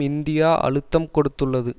India அழுத்தம் கொடுத்துள்ளது